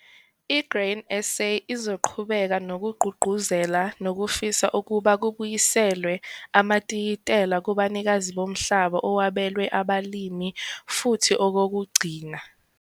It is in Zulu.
I-Grain SA izoqhubeka nokugqugquzela nokufisa ukuba kubuyiselwe amatayitela kubanikazi bomhlaba owabelwe abalimi, futhi okokugcina